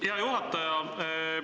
Hea juhataja!